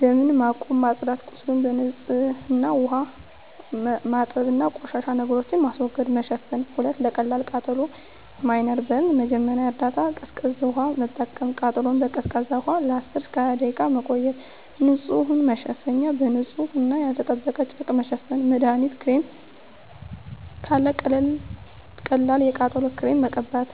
ደም ማቆም። ማጽዳት – ቁስሉን በንጹህ ውሃ ማጠብ እና ቆሻሻ ነገሮችን ማስወገድ። መሸፈን – 2. ለቀላል ቃጠሎ (Minor Burn) መጀመሪያ እርዳታ ቀዝቃዛ ውሃ መጠቀም – ቃጠሎውን በቀዝቃዛ ውሃ ለ10–20 ደቂቃ መቆየት። ንጹህ መሸፈኛ – በንጹህ እና ያልተጠበቀ ጨርቅ መሸፈን። መድሀኒት ክሬም – ካለ ቀላል የቃጠሎ ክሬም መቀበት።